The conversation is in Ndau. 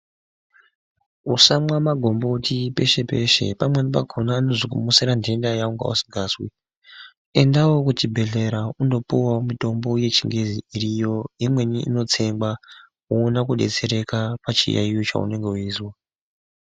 Musamwa magomboti peshe peshe pamweni pakhona nozokumusira nthenda yawanga usingazwi. Endawo kuchibhenblera undopuwa mitombo yechingezi iriyo imweni inotsengwa woone kudetsereka pachiyayiyo chaunenge weizwa.